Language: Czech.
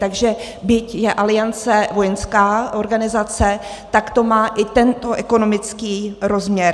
Takže byť je Aliance vojenská organizace, tak to má i tento ekonomický rozměr.